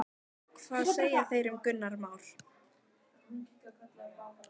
Hvað segja þeir um Gunnar Már?